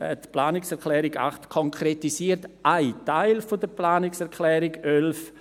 Die Planungserklärung 8 konkretisiert einen Teil der Planungserklärung 11.